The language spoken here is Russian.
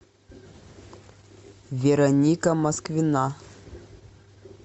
вероника москвина